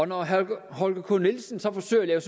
når herre holger k nielsen så forsøger